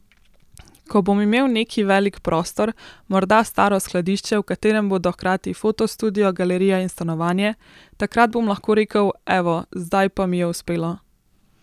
Ko bom imel neki velik prostor, morda staro skladišče, v katerem bodo hkrati fotostudio, galerija in stanovanje, takrat bom lahko rekel, evo, zdaj pa mi je uspelo.